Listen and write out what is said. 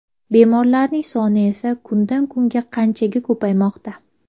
Bemorlarning soni esa kundan kunga qanchaga ko‘paymoqda?